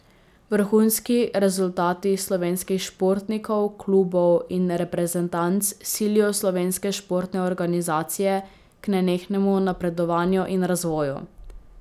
Vrhunski rezultati slovenskih športnikov, klubov in reprezentanc silijo slovenske športne organizacije k nenehnemu napredovanju in razvoju.